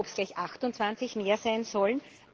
Aber ob es gleich 28 mehr sein sollen?